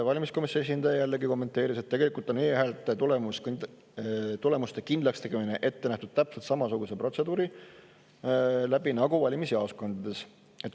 Valimisteenistuse esindaja kommenteeris, et tegelikult on e-häälte tulemuste kindlakstegemine ette nähtud täpselt samasuguse protseduuri abil nagu valimisjaoskondades.